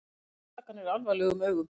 Líta ásakanir alvarlegum augum